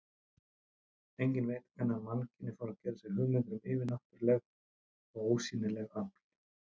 Enginn veit hvenær mannkynið fór að gera sér hugmyndir um yfirnáttúruleg og ósýnileg öfl.